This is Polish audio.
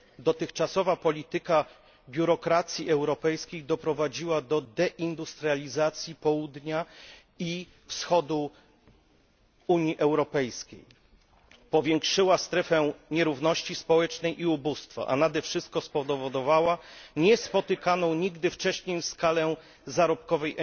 Dotychczasowa polityka biurokracji europejskiej doprowadziła do deindustrializacji południa i wschodu Unii Europejskiej, powiększyła strefę nierówności społecznej i ubóstwa, a nade wszystko spowodowała niespotykaną nigdy wcześniej skalę emigracji zarobkowej.